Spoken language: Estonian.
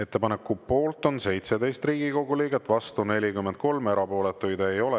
Ettepaneku poolt on 17 Riigikogu liiget, vastu 43, erapooletuid ei ole.